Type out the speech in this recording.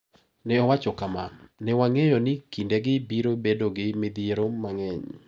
Ne owacho kama, " ne wang`eyo ni kindegi biro bedo gi midhiero mang`eny".